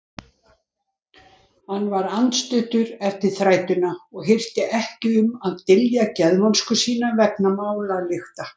Hann var andstuttur eftir þrætuna og hirti ekki um að dylja geðvonsku sína vegna málalykta.